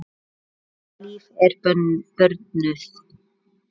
Birta Líf er börnuð.